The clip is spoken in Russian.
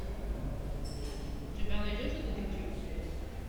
у тебя найдется детектив